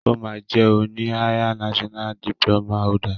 O ma jẹ oni higher national diploma holder.